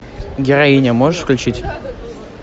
героиня можешь включить